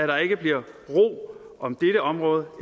der ikke bliver ro om dette område